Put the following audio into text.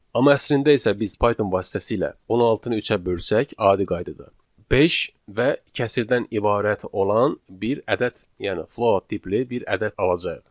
Amma əslində isə biz Python vasitəsilə 16-nı 3-ə bölsək, adi qaydada beş və kəsrdən ibarət olan bir ədəd, yəni float tipli bir ədəd alacağıq.